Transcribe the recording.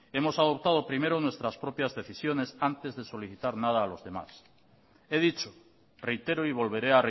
hemos adoptado primero nuestras propias decisiones antes de solicitar nada a los demás he dicho reitero y volveré